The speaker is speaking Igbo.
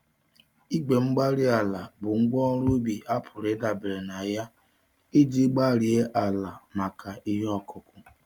Igwe-mgbárí-ala bụ ngwá ọrụ ubi a pụrụ ịdabere na ya iji gbarie àlà maka ihe okụkụ